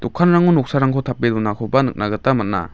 dokanrango noksarangko tape donakoba nikna gita man·a.